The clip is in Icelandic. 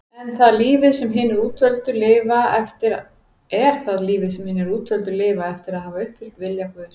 Er það lífið sem hinir útvöldu lifa eftir að hafa uppfyllt vilja Guðs?